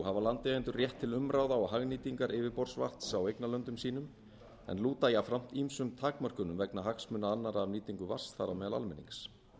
hafa landeigendur rétt til umráða og hagnýtingar yfirborðsvatns á eignarlöndum sínum en lúta jafnframt ýmsum takmörkunum vegna hagsmuna annarra af nýtingu vatns þar á meðal almennings